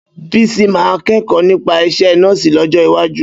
Bísí máa kẹ́kọ̀ọ́ nípa isẹ́ nọ́ọ̀sì lọ́jọ́ iwájú